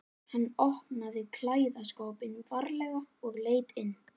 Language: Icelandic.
Hann opnaði klæðaskápinn varlega og leit inn.